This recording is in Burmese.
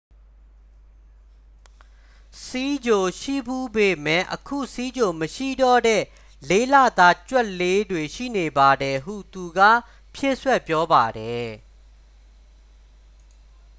"""ဆီးချိုရှိဖူးပေမယ့် အခုဆီးချိုမရှိတော့တဲ့ ၄ လသား ကြွက်လေးတွေ ရှိနေပါတယ်" ဟုသူက ဖြည့်စွက်ပြောပါတယ်။